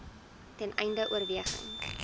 ten einde oorweging